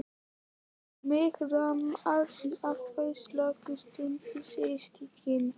Og mig rámar í að þau slógust stundum systkinin.